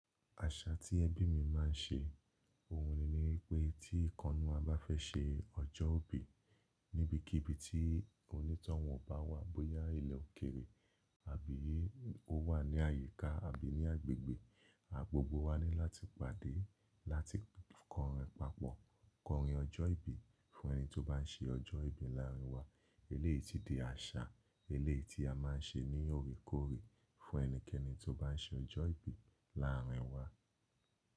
Àṣà tí ẹbí mi máa ń ṣe, òun ni wípé tí ìkannú à bá fẹ́ ṣe ọjọ́ ìbí níbikíbi tí onítọ̀hún bá wà, bóyá ilẹ̀ òkèrè àbí ó wà ní àyíká àbí ní agbègbè, gbogbo wa ní láti pàdé láti kọrin papọ̀, kọrin ọjọ́ ìbí fún ẹni tó bá ń ṣe ọjọ́ ìbí láàrín wa. Eléyìí tí di àṣà eléyìí tí a máa ń ṣe ní òrékoore fún ẹnikẹ́ni tó bá ń ṣe ọjọ́ ìbí láàrín wa.